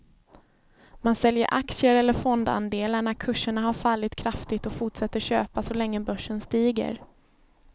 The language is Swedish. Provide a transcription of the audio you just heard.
Man säljer aktier eller fondandelar när kurserna har fallit kraftigt och fortsätter köpa så länge börsen stiger.